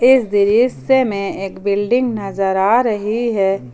इस दृश्य में एक बिल्डिंग नजर आ रही है।